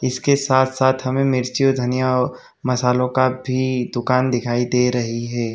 इसके साथ साथ हमें मिर्ची और धनिया मसालों का भी दुकान दिखाई दे रही है।